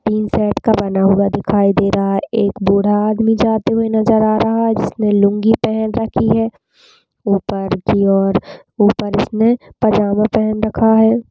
--तीन सेट का बना हुआ दिखाई दे रहा है एक बूढ़ा आदमी जाते हुए नज़र आ रहा है जिसनें लूंगी पहन रखी है ऊपर की और ऊपर इसने पजामा पहन रखा है।